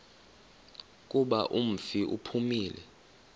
kuba umfi uphumile